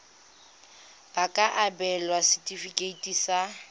ba ka abelwa setefikeiti sa